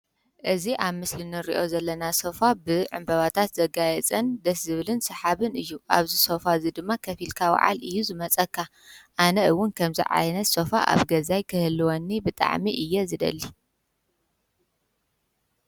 እዝ ኣብ ምስልኒርዮ ዘለና ሶፋ ብዕምበባታት ዘጋየ እፅን ደስ ዝብልን ሰሓብን እዩ ኣብዝ ሶፋ እዝ ድማ ኸፊልካ ውዓል እዩ ዝመጸካ ኣነ እውን ከምዝ ዓይነት ሰፋ ኣብ ገዛይ ክህልወኒ ብጠዕሚ እየ ዝደሊ